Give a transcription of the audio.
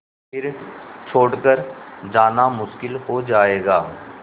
फिर छोड़ कर जाना मुश्किल हो जाएगा